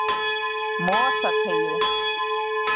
Mosateigi